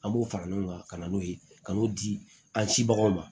An b'o fara ɲɔgɔn kan ka na n'o ye ka n'o di an sibagaw ma